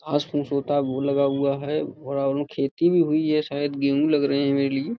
लगा हुआ है। खेती भी हुई है। शायद गेहूँ लग रहे हैं मेरे लिए।